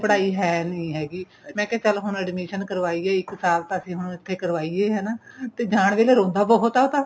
ਪੜਾਈ ਹੈ ਨੀਂ ਹੈਗੀ ਮੈਂ ਕਿਆ ਚੱਲ ਹੁਣ admission ਕਾਰਵਾਈ ਇੱਕ ਸਾਲ ਤਾਂ ਅਸੀਂ ਹੁਣ ਉੱਥੇ ਕਰਵਾਈਏ ਹਨਾ ਤੇ ਜਾਂ ਵੇਲੇ ਰੋਂਦਾ ਬਹੁਤ ਏ ਉਹ ਤਾਂ